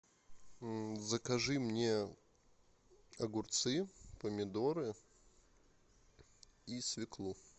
закажи мне огурцы помидоры и свеклу